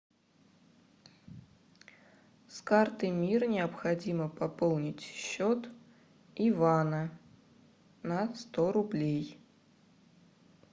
с карты мир необходимо пополнить счет ивана на сто рублей